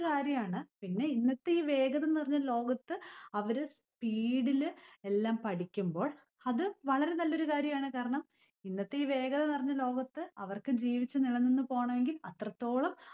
കാര്യമാണ്. പിന്നെ ഇന്നത്തെ ഈ വേഗത നിറഞ്ഞ ലോകത്ത് അവര് speed ഇല് എല്ലാം പഠിക്കുമ്പോൾ അത് വളരെ നല്ലൊരു കാര്യമാണ്. കാരണം ഇന്നത്തെ ഈ വേഗത നിറഞ്ഞ ലോകത്ത് അവർക്ക് ജീവിച്ച് നിലനിന്നു പോണെങ്കി അത്രത്തോളം